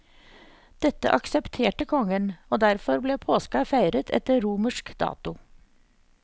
Dette aksepterte kongen, og derfor ble påska feiret etter romersk dato.